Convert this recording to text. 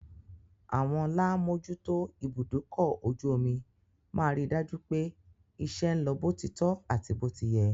Àwọn lá mòójútó ibùdókọ-ojú-omi máa rí dájú pé iṣẹ́ ń lọ bó ti tọ́ àti bó ti yẹ.